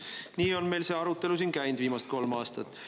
Nii on meil see arutelu siin käinud viimased kolm aastat.